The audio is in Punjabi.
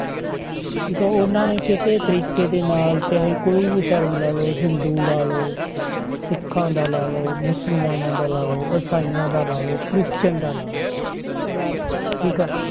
ਠੀਕ ਆ ਉਹਨਾਂ ਨੇ ਕਿਸੇ ਤਰੀਕੇ ਦੇ ਨਾਲ ਚਾਹੇ ਕੋਈ ਵੀ ਧਰਮ ਲੈ ਲਓ ਹਿੰਦੂ ਲਾ ਲਓ ਸਿੱਖਾਂ ਦਾ ਲਾ ਲਓ, ਮੁਸਲਮਾਨਾਂ ਦਾ ਲਾ ਲਓ, ਇਸਾਈਆਂ ਦਾ ਲਾ ਲਓ, ਕ੍ਰਿਸਚਨ ਦਾ ਲਾ ਲਓ ਠੀਕ ਆ।